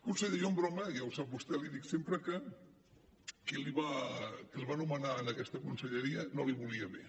conseller jo en broma ja ho sap vostè li dic sempre que qui el va nomenar per a aquesta conselleria no li volia bé